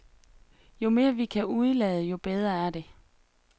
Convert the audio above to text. Jo mere vi kan udelade, jo bedre er det.